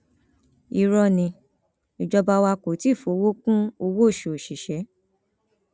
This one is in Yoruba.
irọ ni ìjọba wa kò tí ì fọwọ kún owóoṣù òṣìṣẹ